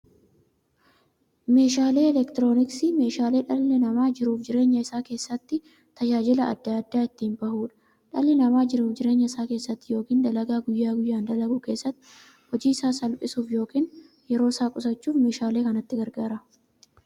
Meeshaaleen elektirooniksii meeshaalee dhalli namaa jiruuf jireenya isaa keessatti, tajaajila adda addaa itti bahuudha. Dhalli namaa jiruuf jireenya isaa keessatti yookiin dalagaa guyyaa guyyaan dalagu keessatti, hojii isaa salphissuuf yookiin yeroo isaa qusachuuf meeshaalee kanatti gargaarama.